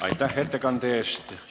Aitäh ettekande eest!